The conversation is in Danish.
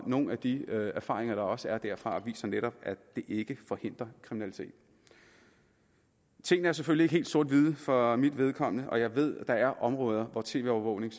og nogle af de erfaringer der også er derfra viser netop at det ikke forhindrer kriminalitet tingene er selvfølgelig ikke helt sort hvide for mit vedkommende og jeg ved at der er områder hvor tv overvågning